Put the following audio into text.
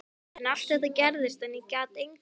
En allt þetta gerðist og ég gat engu breytt.